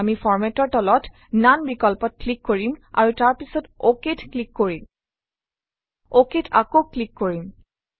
আমি Format অৰ তলত ননে বিকল্পত ক্লিক কৰিম আৰু তাৰ পাছত OK ত ক্লিক কৰিম OK ত আকৌ ক্লিক কৰিম